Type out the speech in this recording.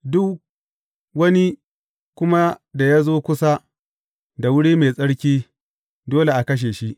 Duk wani kuma da ya zo kusa da wuri mai tsarki, dole a kashe shi.